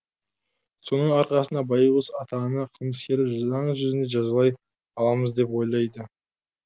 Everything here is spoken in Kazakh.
соның арқасында байғұс ата ана қылмыскерді заң жүзінде жазалай аламыз деп ойлайды